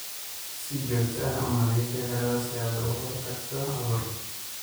Si joogto ah u nadiifi xiradhaa si aad uga hortagto cudur.